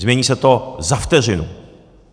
Změní se to za vteřinu.